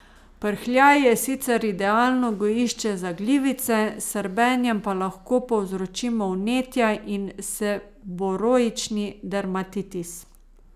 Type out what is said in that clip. Prhljaj je sicer idealno gojišče za glivice, s srbenjem pa lahko povzročimo vnetja in seboroični dermatitis.